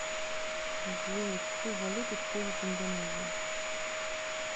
джой какую валюту используют в индонезии